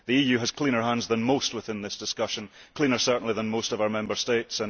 The EU has cleaner hands than most in this discussion, and cleaner certainly than most of our Member States.